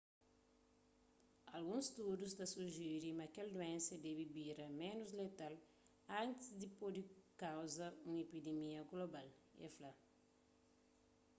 alguns studus ta sujiri ma kel duénsa debe bira ménus letal antis di pode kauza un epidimia global el fla